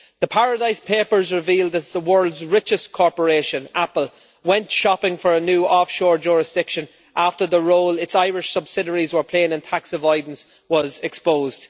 The Paradise Papers revealed that the world's richest corporation, Apple, went shopping for a new offshore jurisdiction after the role its Irish subsidiaries were playing in tax avoidance was exposed.